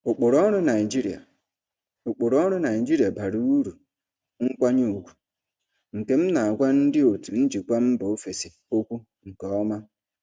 Ụkpụrụ ọrụ Naijiria Ụkpụrụ ọrụ Naijiria bara uru nkwanye ùgwù, nke m na-agwa ndị otu njikwa mba ofesi okwu nke ọma.